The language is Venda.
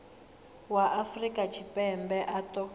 wa afrika tshipembe a ṱo